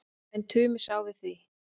En Tumi sá við því.